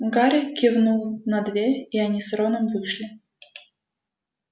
гарри кивнул на дверь и они с роном вышли